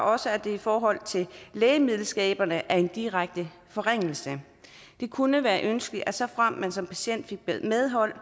også at det i forhold til lægemiddelskader er en direkte forringelse det kunne være ønskeligt at såfremt man som patient fik medhold